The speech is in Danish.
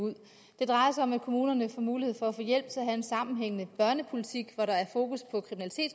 ud det drejer sig om at kommunerne får mulighed for at få hjælp til at have en sammenhængende børnepolitik hvor der er fokus på